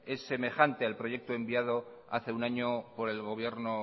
es semejante al proyecto enviado hace un año por el gobierno